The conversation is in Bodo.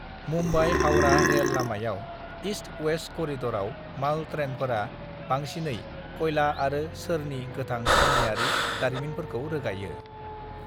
मुम्बाइ-हावड़ा रेल लामायाव ईस्ट-वेस्ट करिडराव माल ट्रेनफोरा बांसिनै कयला आरो सोरनि गोथां खनियारि दारिमिनफोरखौ रोगायो।